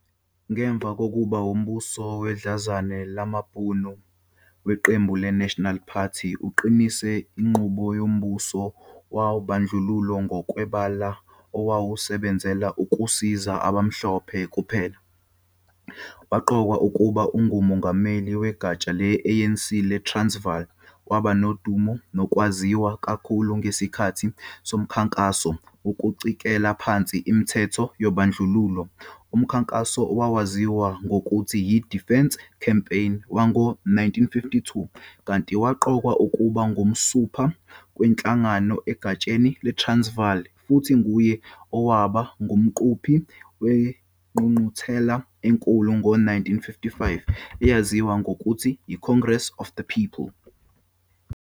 Ngemuva kokuba umbuso wedlanzane lamabhunu weqembu le-National Party uqinise inqubo yombuso wobandlululo ngokwebala, owawusebenzela ukusiza abamhlophe kuphela, waqokwa ukuba nguMongameli wegatsha le-ANC leTransvali, waba nodumu nokwaziwa kakhulu ngesikhathi somkhankaso wokucikela phansi imithetho yobandlululo, umkhankaso owawaziwa ngokuthi yi-Defiance Campaign wango 1952, kanti waqokwa ukuba ngonsumpa kwinhlangano egatsheni leTransvaal, futhi nguye owaba ngumqhubi kwingqungquthela enkulu ngo-1955 eyaziwa ngokuthi yi-Congress of the People.